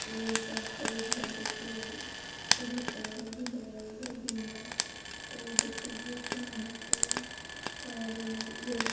यह सब है इधर देखिए उधर पौधा भी है इधर भी है और यह देखिए गेट है यहां पे और ये ये देख--